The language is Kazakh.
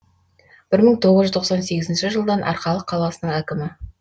бір мың тоғыз жүз тоқсан сегізінші жылдан арқалық қаласының әкімі